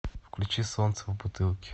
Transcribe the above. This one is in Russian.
включи солнце в бутылке